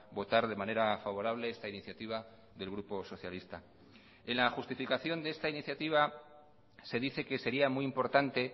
votar de manera favorable esta iniciativa del grupo socialista en la justificación de esta iniciativa se dice que sería muy importante